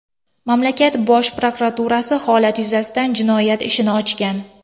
Mamlakat bosh prokuraturasi holat yuzasidan jinoyat ishini ochgan.